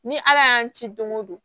Ni ala y'an ci don go don